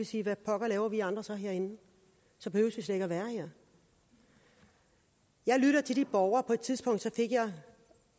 sige hvad pokker laver vi andre så herinde så behøver vi slet ikke at være her jeg lytter til de borgere og på et tidspunkt fik jeg det